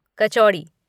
कचौड़ी